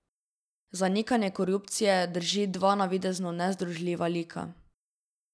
Zanikanje korupcije druži dva navidezno nezdružljiva lika.